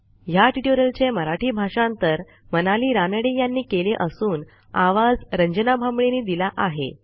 ह्या ट्युटोरियलचे मराठी भाषांतर मनाली रानडे यांनी केले असून आवाज यांनी दिला आहे